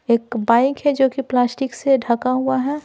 एक बाइक है जो कि प्लास्टिक से ढका हुआ है।